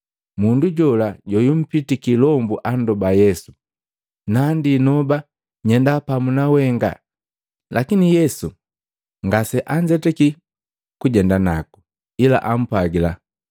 Mundu jola joyumpitiki ilombu andoba Yesu, “Nandi noba nyenda pamu na wenga.” Lakini Yesu ngase anzetaki kujenda naku, ila ampwagila,